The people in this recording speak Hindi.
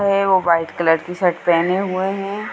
ये है वो वाइट कलर की शर्ट पहने हुए है।